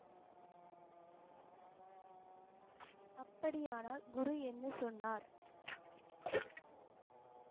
அப்படியானால் குரு என்ன சொன்னார்?